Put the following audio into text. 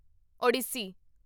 Odissi